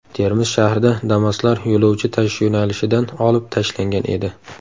Termiz shahrida Damas’lar yo‘lovchi tashish yo‘nalishidan olib tashlangan edi.